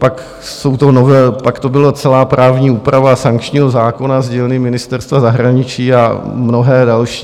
Pak to byla celá právní úprava sankčního zákona z dílny Ministerstva zahraničí a mnohé další.